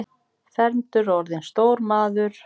Fermdur og orðinn stór maður.